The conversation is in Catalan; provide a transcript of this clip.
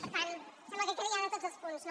per tant em sembla que queda ja de tots els punts no